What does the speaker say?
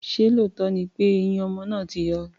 Ṣé lóòótọ́ ni pé eyín ọmọ náà ti yọ?